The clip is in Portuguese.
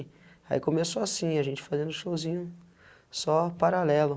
Aí começou assim, a gente fazendo showzinho, só paralelo.